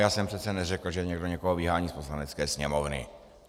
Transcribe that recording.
Já jsem přece neřekl, že někdo někoho vyhání z Poslanecké sněmovny.